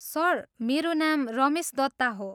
Sir, मेरो नाम रमेश दत्ता हो।